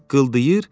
Pıqqıldayır.